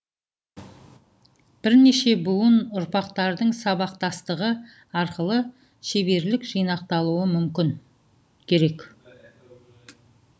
бірнеше буын ұрпақтардың сабақтастығы арқылы шеберлік жинақталуы керек